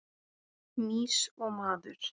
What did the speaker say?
Mýs og maður.